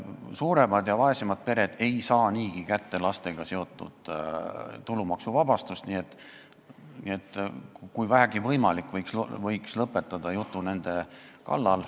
Suuremad ja vaesemad pered ei saa niigi lastega seotud tulumaksuvabastust kätte, nii et kui vähegi võimalik, võiks selle jutu lõpetada.